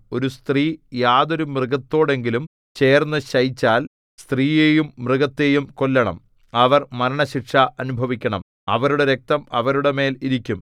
ഒരു സ്ത്രീ യാതൊരു മൃഗത്തോടെങ്കിലും ചേർന്നു ശയിച്ചാൽ സ്ത്രീയെയും മൃഗത്തെയും കൊല്ലണം അവർ മരണശിക്ഷ അനുഭവിക്കണം അവരുടെ രക്തം അവരുടെ മേൽ ഇരിക്കും